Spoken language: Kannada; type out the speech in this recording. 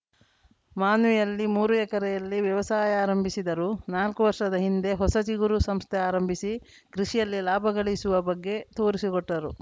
ಮಾನ್ವಿಯಲ್ಲಿ ಮೂರು ಎಕರೆಯಲ್ಲಿ ವ್ಯವಸಾಯ ಆರಂಭಿಸಿದರು ನಾಲ್ಕು ವರ್ಷದ ಹಿಂದೆ ಹೊಸ ಚಿಗುರು ಸಂಸ್ಥೆ ಆರಂಭಿಸಿ ಕೃಷಿಯಲ್ಲಿ ಲಾಭಗಳಿಸುವ ಬಗ್ಗೆ ತೋರಿಸಿಕೊಟ್ಟರು